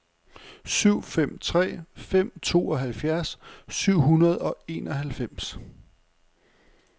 syv fem tre fem tooghalvfjerds syv hundrede og enoghalvfems